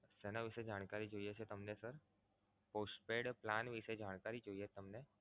શેના વિશે જાણકારી જોઈએ છે તમને sir? Postpaid Plan વિશે જાણકારી જોઈએ તમને